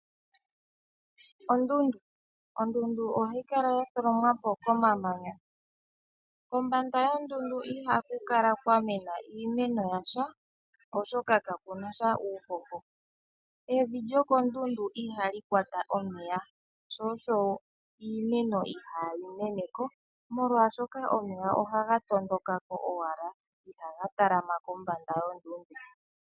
Ondundu Ondundu ohayi kala ya tholomwa po komamanya. Kombanda yondundu ihaku kala kwa mena iimeno yasha, oshoka kaku na sha uuhoho. Evi lyokondundu ihali kwata omeya, sho osho iimeno ihayi mene ko molwashoka omeya ohaga tondoka ko owala ihaga talama kombanda yondundu.